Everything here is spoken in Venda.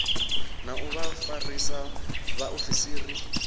na u vha vhafarisa vhaofisiri